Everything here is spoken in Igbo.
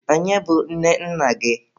Onye bụ nne nna gị?